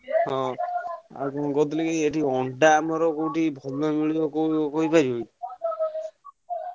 ହଁ ଆଉ କଣ କହୁଥିଲିକି ଏଠି ଅଣ୍ଡା ଆମର କୋଉଠି ଭଲ ମିଳିବ କୋଉ କହିପାରିବ?